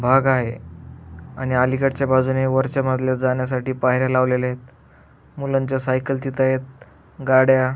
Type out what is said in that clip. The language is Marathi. भाग आहे आणि अलीकडच्या बाजूनी वरच्या मजल्यावर जाण्यासाठी पायऱ्या लावलेल्या आहेत मुलांच्या सायकल तिथंय गाड्या --